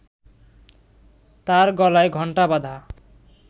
তার গলায় ঘণ্টা বাঁধা